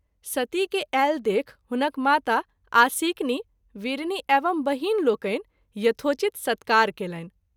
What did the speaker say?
सती के आयल देखि हुनक माता आसिक्नी(वीरिणी) एवं बहिन लोकनि यथोचित सत्कार कएलनि।